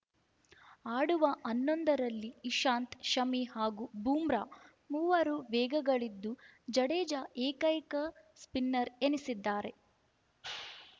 ಆಡುವ ಹನ್ನೊಂದರಲ್ಲಿ ಇಶಾಂತ್‌ ಶಮಿ ಹಾಗೂ ಬೂಮ್ರಾ ಮೂವರು ವೇಗಿಗಳಿದ್ದು ಜಡೇಜಾ ಏಕೈಕ ಸ್ಪಿನ್ನರ್‌ ಎನಿಸಿದ್ದಾರೆ